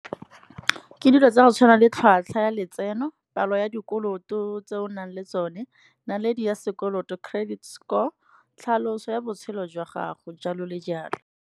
Ke dilo tsa go tshwana le tlhwatlhwa ya letseno, palo ya dikoloto tse o nang le tsone, naledi ya sekoloto, credit score tlhaloso ya botshelo jwa gago jalo le jalo.